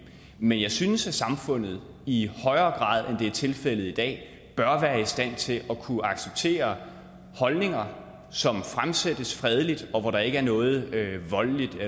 men jeg synes at samfundet i højere grad det er tilfældet i dag bør være i stand til at kunne acceptere holdninger som fremsættes fredeligt og hvor der ikke er noget voldeligt